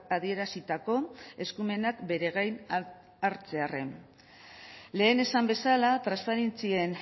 adierazitako eskumenak bere gain hartzearren lehen esan bezala transferentzien